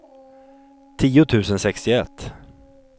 tio tusen sextioett